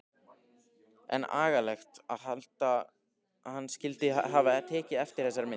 En agalegt að hann skyldi hafa tekið eftir þessari mynd.